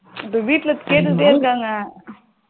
இப்போ வீட்டுல கேட்டுட்டே இருக்காங்க